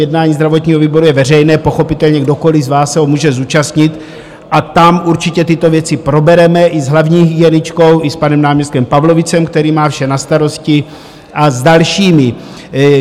Jednání zdravotního výboru je veřejné, pochopitelně kdokoliv z vás se ho může zúčastnit, a tam určitě tyto věci probereme i s hlavní hygieničkou i s panem náměstkem Pavlovicem, který má vše na starosti, a s dalšími.